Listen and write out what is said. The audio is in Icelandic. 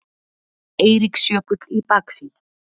Eiríksjökull í baksýn.